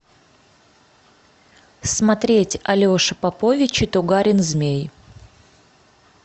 смотреть алеша попович и тугарин змей